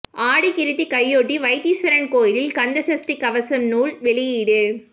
ஆடி கிருத்திகையொட்டி வைத்தீஸ்வரன் கோயிலில் கந்த சஷ்டி கவசம் நூல் வெளியீடு